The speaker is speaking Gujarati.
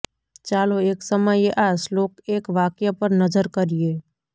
ચાલો એક સમયે આ શ્લોક એક વાક્ય પર નજર કરીએ